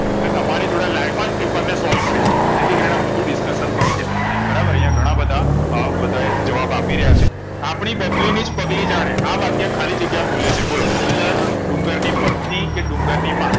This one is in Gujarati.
અને તંમારી જોડે live માં જ paper ને solve કરીશું જેથી કરીને બધું discussion થઈ જાઈ બરાબર અહીંયા ઘણાબધા અ બધાયે જવાબ આપી રહિયા છે આપણી બબલીની જ પગલી જાણે આ વાક્ય ખાલી જગ્યા બોલે છે બોલો ડુંગર ડુંગર ની પત્ની કે ડુંગર ની માં